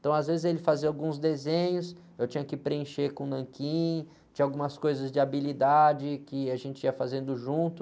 Então, às vezes, ele fazia alguns desenhos, eu tinha que preencher com nanquim, tinha algumas coisas de habilidade que a gente ia fazendo junto.